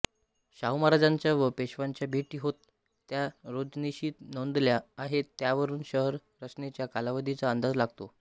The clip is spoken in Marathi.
शाहूमहाराजांच्या व पेशव्यांच्या भेटी होत त्या रोजनिशीत नोंदल्या आहेत त्यावरून शहर रचनेच्या कालावधीचा अंदाज लागतो